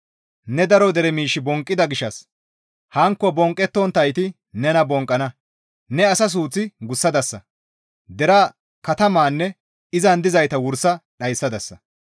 Ne daro dere miish bonqqida gishshas hankko bonqqettonttayti nena bonqqana; ne asa suuth gussadasa; deraa, katamanne izan dizayta wursa dhayssadasa.